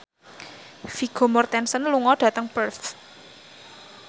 Vigo Mortensen lunga dhateng Perth